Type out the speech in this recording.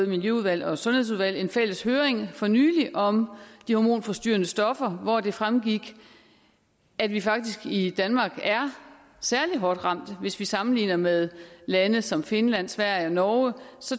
miljøudvalget og sundhedsudvalget haft en fælles høring for nylig om de hormonforstyrrende stoffer hvor det fremgik at vi faktisk i danmark er særlig hårdt ramt hvis vi sammenligner med lande som finland sverige og norge